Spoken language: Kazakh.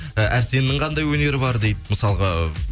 і әрсеннің қандай өнері бар дейді мысалғы